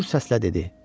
Gür səslə dedi: